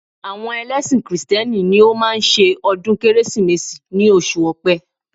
Àwọn ẹlẹ́ṣin kìrìsìtẹ́nì ni ó máa ń ṣe ọdún Kérésìmesì ní oṣù ọ̀pẹ